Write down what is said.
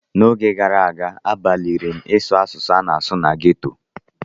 N'oge gara aga, agbalịrị m ịsụ asụsụ a na-asụ na ghetto.